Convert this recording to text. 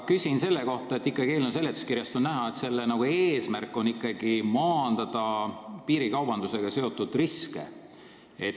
Eelnõu seletuskirjast on näha, et eesmärk on ikkagi maandada piirikaubandusega seotud riske.